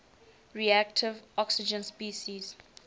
reactive oxygen species